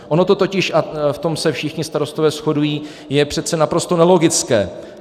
Ono to totiž - a v tom se všichni starostové shodují - je přece naprosto nelogické.